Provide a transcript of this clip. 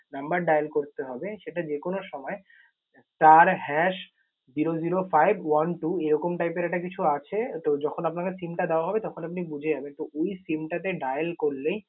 number dial করতে হবে সেটা যেকোনো সময় star hash zero zero five one two এইরকম type এর একটা কিছু আছে। তো যখন আপনাকে SIM টা দেওয়া হবে তখন আপনি বুঝে যাবেন। তো ওই SIM টা তে dial করলেই